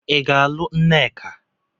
Ị ga-alụ nneka?